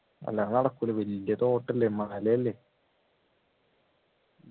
അല്ലാണ്ട് നടക്കൂല വലിയ തോട്ടല്ലേ മലയല്ല